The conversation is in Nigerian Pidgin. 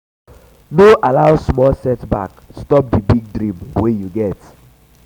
no allow small setback stop di big dream wey you get